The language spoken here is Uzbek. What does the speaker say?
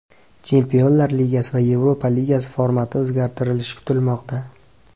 Chempionlar Ligasi va Yevropa Ligasi formati o‘zgartirilishi kutilmoqda.